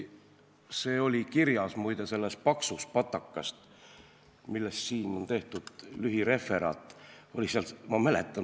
See oli muide kirjas selles paksus patakas, millest nüüd on tehtud lühireferaat.